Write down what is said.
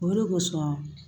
O de kosɔn